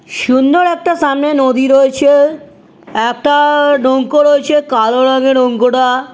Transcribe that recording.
সুন্দর একটা সামনে নদী রয়েছে। একটা-আ নৌকো রয়েছে। কালো রঙের নৌকোটা।